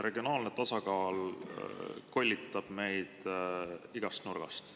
Regionaalne tasakaal kollitab meid igast nurgast.